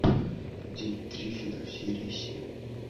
день триффидов серия семь